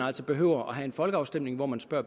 altså behøver have en folkeafstemning hvor man spørger